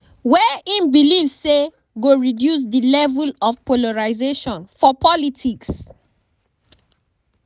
wey im believe say go "reduce di level of polarisation for politics".